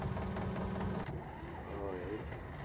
ઓહ એવું છે.